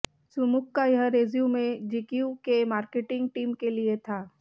सुमुख का यह resume GQ की मार्केटिंग टीम के लिए था